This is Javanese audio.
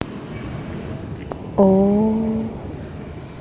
O o o